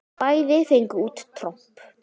Bæði fengu út tromp.